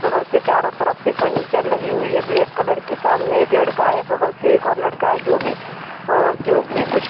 बगल से चारों तरफ से फर्नीचर लगी हुई है ब्लैक कलर की सामने एक लड़का है बगल से एक और लड़का है और जो भी अ जो भी कुछ --